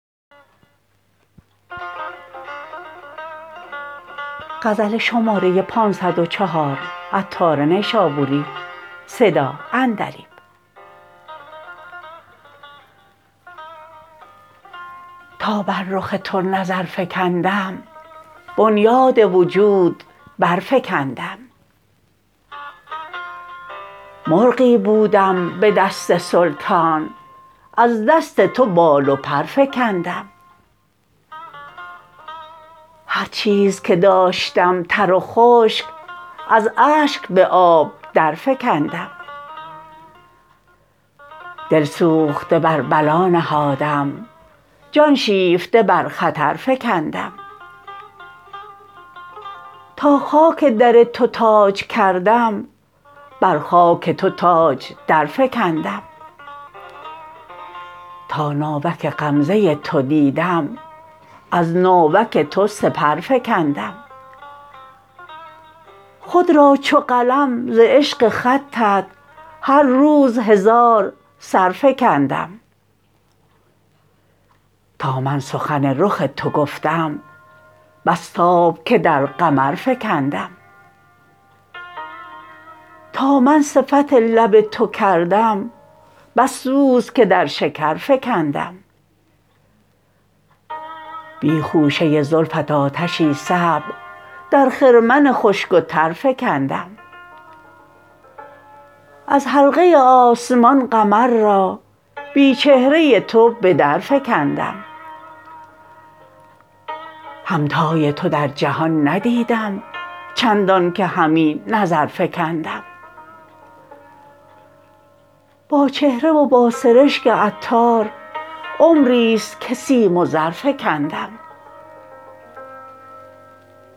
تا بر رخ تو نظر فکندم بنیاد وجود برفکندم مرغی بودم به دست سلطان از دست تو بال و پر فکندم هرچیز که داشتم تر و خشک از اشک به آب در فکندم دل سوخته بر بلا نهادم جان شیفته برخطر فکندم تا خاک در تو تاج کردم بر خاک تو تاج در فکندم تا ناوک غمزه تو دیدم از ناوک تو سپر فکندم خود را چو قلم ز عشق خطت هر روز هزار سر فکندم تا من سخن رخ تو گفتم بس تاب که در قمر فکندم تا من صفت لب تو کردم بس سوز که در شکر فکندم بی خوشه زلفت آتشی صعب در خرمن خشک و تر فکندم از حلقه آسمان قمر را بی چهره تو به در فکندم همتای تو در جهان ندیدم چندان که همی نظر فکندم با چهره و با سرشک عطار عمری است که سیم و زر فکندم